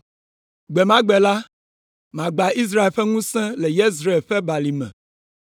Gbe ma gbe la, magbã Israel ƒe ŋusẽ le Yezreel ƒe balime.”